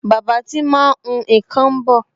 Bàbá tí máa ń hun nkan ń bọ̀